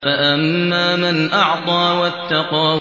فَأَمَّا مَنْ أَعْطَىٰ وَاتَّقَىٰ